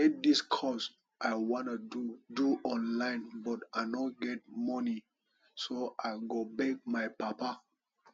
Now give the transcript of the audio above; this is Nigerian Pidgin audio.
e get dis course i wan do do online but i no get money so i go beg my papa